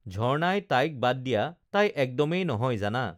ঝৰ্ণাই তাইক বাদ দিয়া তাই একদমেই নহয় জানা